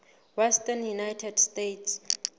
western united states